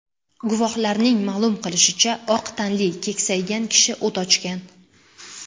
Guvohlarning ma’lum qilishicha, oq tanli, keksaygan kishi o‘t ochgan.